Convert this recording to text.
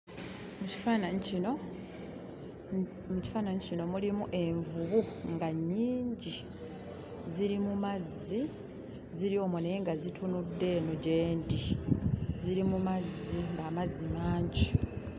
Mu kifaananyi kino mu kifaananyi kino mulimu envubu nga nnyingi. Ziri mu mazzi, ziri omwo naye nga zitunudde eno gye ndi. Ziri mu mazzi, amazzi mangi.